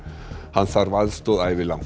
hann þarf aðstoð ævilangt